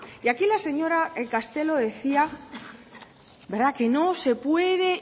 y aquí la señor castelo decía que no se puede